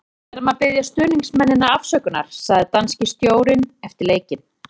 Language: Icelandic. Við verðum að biðja stuðningsmennina afsökunar, sagði danski stjórinn eftir leikinn.